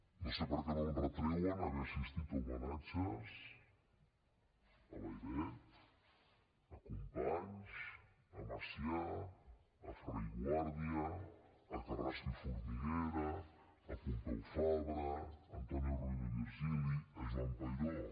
no sé per què no em retreuen haver assistit a homenatges a layret a companys a macià a ferrer i guàrdia a carrasco i formiguera a pompeu fabra a antoni rovira i virgili a joan peiró